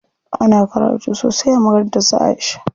Ana karatu sosai a makarantar su Aisha.